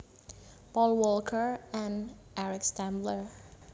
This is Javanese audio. Paul Walker and Eric Stambler